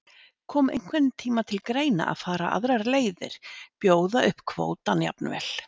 Kom einhvern tímann til greina að fara aðrar leiðir, bjóða upp kvótann jafnvel?